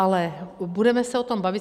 Ale budeme se o tom bavit.